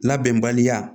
Labɛnbaliya